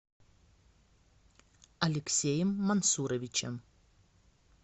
алексеем мансуровичем